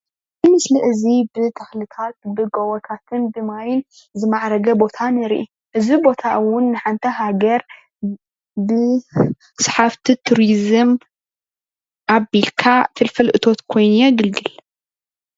እዚ ምስሊ እዚ ብተክልታት ብጎቦታትን ብ ማይን ዝማዕረገ ቦታ ንሪኢ። እዚ ቦታ እውን ንሓንቲ ሃገር ብ ስሓብቲ ቱሪዝም ኣቢልካ ፍልፍል እቶት ኮይኑ የግልግል ::